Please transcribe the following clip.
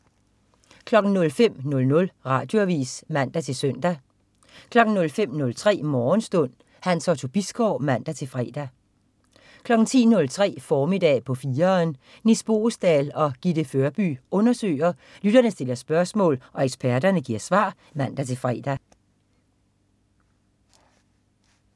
05.00 Radioavis (man-søn) 05.03 Morgenstund. Hans Otto Bisgaard (man-fre) 10.03 Formiddag på 4'eren. Nis Boesdal og Gitte Førby undersøger, lytterne stiller spørgsmål og eksperterne giver svar (man-fre)